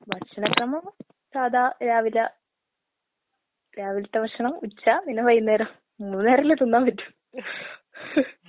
ഭക്ഷണക്രമം സാധാ രാവിലെ രാവിൽത്തെ ഭക്ഷണം, ഉച്ച പിന്നെ വൈകുന്നേരം. മൂന്ന് നേരല്ലേ തിന്നാമ്പറ്റൂ.